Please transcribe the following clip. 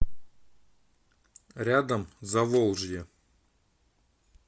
рядом заволжье